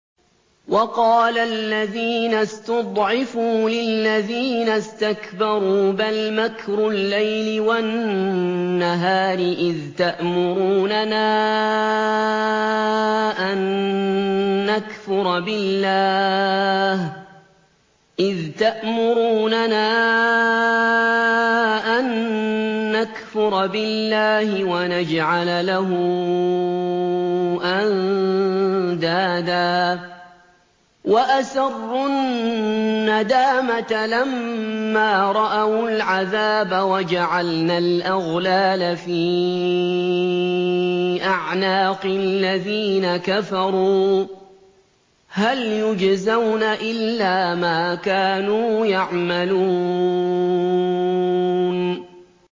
وَقَالَ الَّذِينَ اسْتُضْعِفُوا لِلَّذِينَ اسْتَكْبَرُوا بَلْ مَكْرُ اللَّيْلِ وَالنَّهَارِ إِذْ تَأْمُرُونَنَا أَن نَّكْفُرَ بِاللَّهِ وَنَجْعَلَ لَهُ أَندَادًا ۚ وَأَسَرُّوا النَّدَامَةَ لَمَّا رَأَوُا الْعَذَابَ وَجَعَلْنَا الْأَغْلَالَ فِي أَعْنَاقِ الَّذِينَ كَفَرُوا ۚ هَلْ يُجْزَوْنَ إِلَّا مَا كَانُوا يَعْمَلُونَ